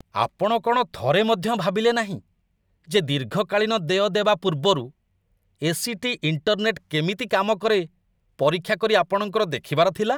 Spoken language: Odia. ଆପଣ କ'ଣ ଥରେ ମଧ୍ୟ ଭାବିଲେନାହିଁ, ଯେ ଦୀର୍ଘକାଳୀନ ଦେୟ ଦେବା ପୂର୍ବରୁ ଏ.ସି.ଟି. ଇଣ୍ଟରନେଟ୍‌ କେମିତି କାମ କରେ ପରୀକ୍ଷା କରି ଆପଣଙ୍କର ଦେଖିବାର ଥିଲା?